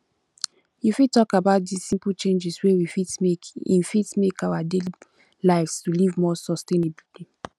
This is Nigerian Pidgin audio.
you fit talk about di simple changes wey we fit make in fit make in our daily lives to live more sustainable